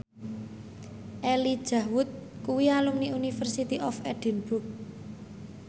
Elijah Wood kuwi alumni University of Edinburgh